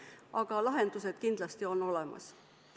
Aga lahendused kindlasti on olemas.